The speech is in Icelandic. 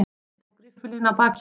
Ég tók riffilinn af bakinu.